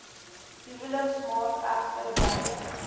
huweliksmaat egter weier